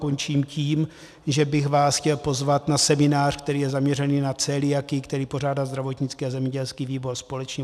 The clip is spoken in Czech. Končím tím, že bych vás chtěl pozvat na seminář, který je zaměřený na celiakii, který pořádá zdravotnický a zemědělský výbor společně.